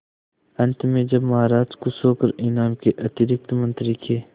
अंत में जब महाराज खुश होकर इनाम के अतिरिक्त मंत्री के